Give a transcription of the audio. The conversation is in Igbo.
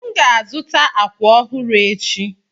M ga-azụta àkwà ọhụrụ echi.